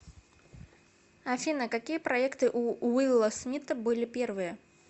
афина какие проекты у уилла смита были первые